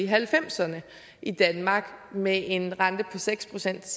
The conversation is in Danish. halvfemserne i danmark med en rente på seks procent